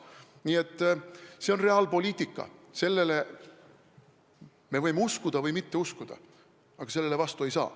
Nii et see on reaalpoliitika, me võime uskuda või mitte uskuda, aga selle vastu ei saa.